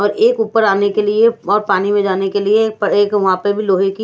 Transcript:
और एक ऊपर आने के लिए और पानी में जाने के लिए एक वहां पे भी लोहे की--